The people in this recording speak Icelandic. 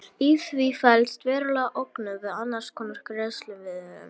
Í því felst veruleg ógnun við annars konar greiðslumiðlun.